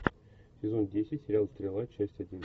сезон десять сериал стрела часть один